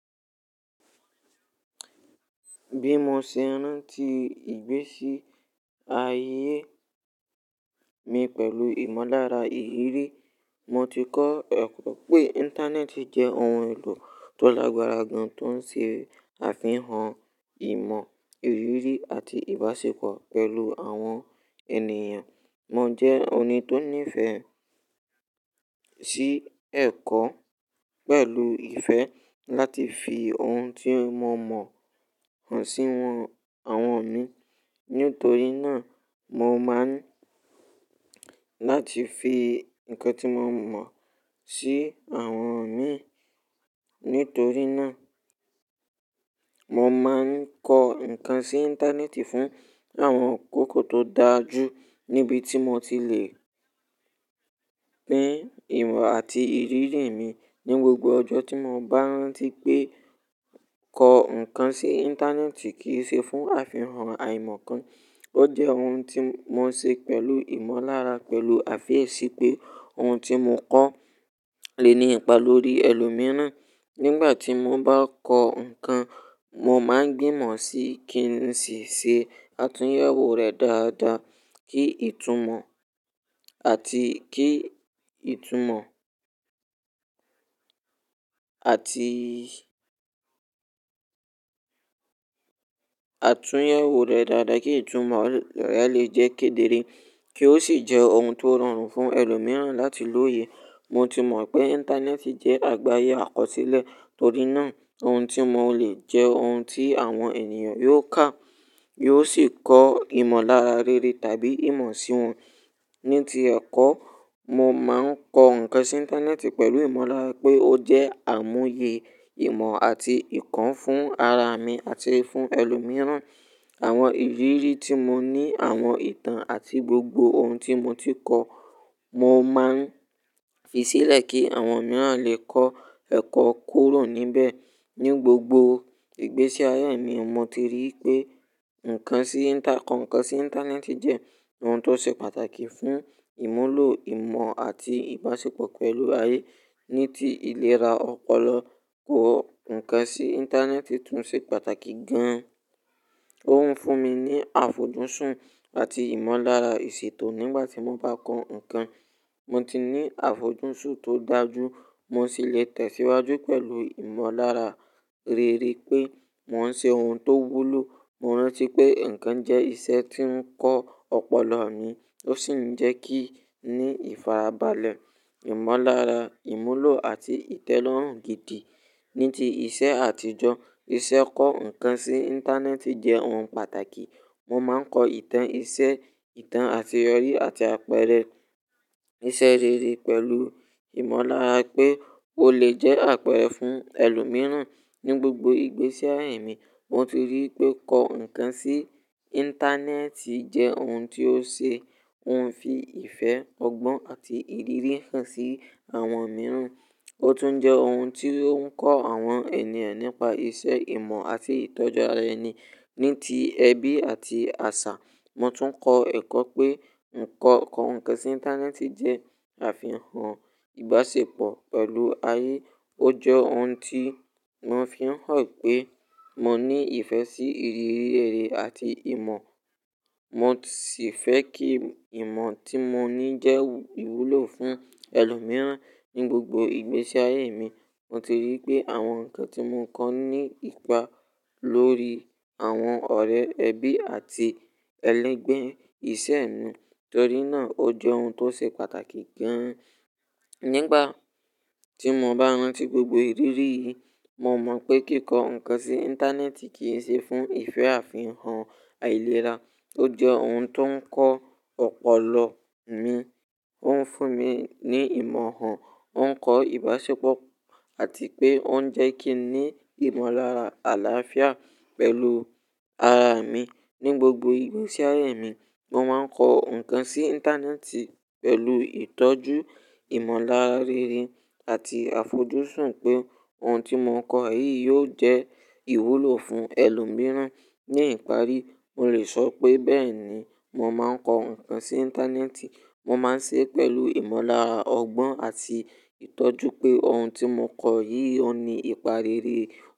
Bí mo ṣe rántí ìgbésí ayé mi pẹ̀lú ìmọ̀lára ìrírí, mo ti kọ́ ẹ̀kọ́ pé Íńtánẹ́ẹ̀tì jẹ́ ohun èlò tó lágbára gan tó ń ṣe àfihàn ìmọ̀, ìrírí àti ìbáṣepọ̀ pẹ̀lú àwọn ènìyàn. Mo jẹ́ ẹni tó ní ìfẹ́ sí ẹ̀kọ́ pẹ̀lú ìfẹ́ láti fi ohun tí mo mọ hàn sí àwọn mi. Nítorí náà, mo máa ń láti fi ǹkan tí mo mọ̀ sí àwọn mi. Nítorí náà, mo máa ń kọ ǹkan sí Íńtánẹ́ẹ̀tì fún àwọn akoko tó dáa jú níbi tí mo ti le pín ìmọ̀ àti ìrírí mi. Ni gbogbo ọjọ́ tí mo bá rántí pé kọ ǹkan sí Íńtánẹ́ẹ̀tì kì í ṣe fún àfihàn àìmọ̀ kan, ó jẹ́ ohun tí mo ń ṣe pẹ̀lú ìmọ̀lára pẹ̀lú àfiyesi pé ohun tí mo kọ́ le ní ipa lórí ẹlòmíràn. Nígbà tí mo bá kọ ǹkan, mo máa ń gbìmọ̀ sí kí n sì ṣe àtúnyẹwò rẹ̀ dáadáa kí ìtumọ̀ àti kí ìtumọ̀ àti àtúnyẹwò rẹ̀ dáadáa kí ìtumọ̀ rẹ̀ lè jẹ́ kedere kí ó sì jẹ́ ohun tó rọrùn fún ẹlòmíràn láti lòye. Mo ti mọ̀ pé Íńtánẹ́ẹ̀tì jẹ́ àgbáyé àkọsílẹ̀, torí náà ohun tí mo lè jẹ́ ohun tí àwọn ènìyàn yóò kà, yóò sì kọ ìmọ̀lára rere tàbí ìmọ̀ sí wọn. Ní ti ẹ̀kọ́, mo máa ń kọ ǹkan sí Íńtánẹ́ẹ̀tì pẹ̀lú ìmọ̀lára pé ó jẹ́ àmúye ìmọ̀ àti ìkọ́ fún ara mi àti fún ẹlòmíràn. Àwọn ìrírí tí mo ní, àwọn ìtàn àti gbogbo ohun tí mo ti kọ́, mo máa ń fi sílẹ̀ kí àwọn mìíràn lè kọ́ ẹ̀kọ́ kúrò níbẹ̀. Ni gbogbo ìgbésí ayé mi, mo ti rí pé ǹkan sí Íńtà-- kọ ǹkan sí Íńtánẹ́ẹ̀tì jẹ́ ohun tó ṣe pàtàkì fún ìmúlò ìmọ̀ àti ìbáṣepọ̀ pẹ̀lú ayé. Ní ti ìlera ọpọlọ, kọ ǹkan sí Íńtánẹ́ẹ̀tì tún ṣe pàtàkì gan-an. Ó ń fún mi ní àfojúsùn àti ìmọ̀lára ìṣètò nígbà tí mo bá kọ ǹkan. Mo ti ní àfojúsùn tó dáa jú, mo sì lè tẹ̀síwájú pẹ̀lú ìmọ̀lára rere pé mò ń ṣe ohun tó wúlò. Mo rántí pé nkan jẹ́ iṣẹ́ tí ń kọ́ ọpọlọ mi, ó sì ń jẹ́ kí n ní ìfarabalẹ̀, ìmọ̀lára, ìmúlò àti ìtẹ́lọ́rùn gidi. Ní ti iṣẹ́ àtijọ́, iṣẹ́ kọ ǹkan sí Íńtánẹ́ẹ̀tì jẹ́ ohun pàtàkì. Mo máa ń kọ ìtàn iṣẹ́, ìtàn àtiyọ̀rí àti àpẹẹrẹ iṣẹ́ rere pẹ̀lú ìmọ̀lára pé ó lè jẹ́ àpẹẹrẹ fún ẹlòmíràn. Ni gbogbo ìgbésí ayé mi, mo ti rí pé kọ ǹkan sí Íńtánẹ́ẹ̀tì jẹ́ ohun tí ó ṣe-- ó ń fi ìfẹ́, ọgbọ́n àti ìrírí hàn sí àwọn mìíràn. Ó tún jẹ́ ohun tí ó ń kọ́ àwọn ènìyàn nípa iṣẹ́ ìmọ̀ àti ìtọ́jú ara ẹni. Ní ti ẹbí àti àṣà, mo tún kọ ẹ̀kọ́ pé ǹkan kọ ǹkan sí Íńtánẹ́ẹ̀tì jẹ́ àfihàn ìbáṣepọ̀ pẹ̀lú ayé. Ó jẹ́ ohun tí mo fi ń hàn pé mo ní ìfẹ́ sí ìrírí rere àti ìmọ̀. Mo sì fẹ́ kí ìmọ̀ tí mo ní jẹ́ ìwúlò fún ẹlòmíràn. Ni gbogbo ìgbésí ayé mi, mo ti rí pé àwọn ǹkan tí mo kọ́ ní ipa lórí àwọn ọ̀rẹ́, ẹbí àti ẹlẹ́gbẹ̀ẹ́ iṣẹ́ nù. Torí náà ó jẹ́ ohun tó ṣe pàtàkì gan-an. Nígbà tí mo bá rántí gbogbo ìrírí yìí, mo mọ̀ pé kíkọ ǹkan sí Íńtánẹ́ẹ̀tì kì í ṣe fún ìfẹ́ àfihàn àìlera. Ó jẹ́ ohun tó ń kọ́ ọpọlọ mi, ó ń fún mi ní ìmọ̀ hàn, ó ń kọ ìbáṣepọ̀ àti pé ó ń jẹ́ kí n ní ìmọ̀lára àlàáfíà pẹ̀lú ara mi. Ni gbogbo ìgbésí ayé mi, mo máa ń kọ ǹkan sí Íńtánẹ́ẹ̀tì pẹ̀lú ìtọ́jú, ìmọ̀lára rere àti àfojúsùn pé ohun tí mo kọ̀ yìí yóò jẹ́ ìwúlò fún ẹlòmíràn. Ni ìparí, mo lè sọ pé bẹ́ẹ̀ni mo máa ń kọ ǹkan sí Íńtánẹ́ẹ̀tì. Mo máa ń ṣe é pẹ̀lú ìmọ̀lára ọgbọ́n àti ìtọ́jú pé ohun tí mo kọ̀ yìí ò ní ipa rere.